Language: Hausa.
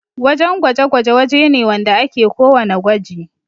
wajan gwaje-gwaje waje ne wanda ake ko wanna gwaji